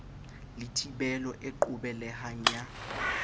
le thibelo e qobelehang ya